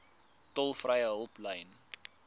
tolvrye hulplyn